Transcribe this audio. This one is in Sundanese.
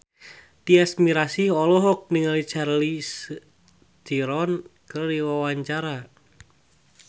Tyas Mirasih olohok ningali Charlize Theron keur diwawancara